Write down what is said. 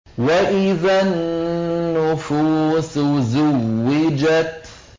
وَإِذَا النُّفُوسُ زُوِّجَتْ